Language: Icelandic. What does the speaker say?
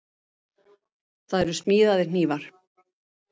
Það eru smíðaðir hnífar.